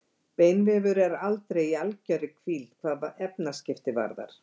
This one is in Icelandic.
Beinvefur er aldrei í algjörri hvíld hvað efnaskipti varðar.